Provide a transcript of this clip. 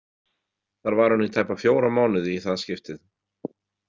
Þar var hún í tæpa fjóra mánuði í það skiptið.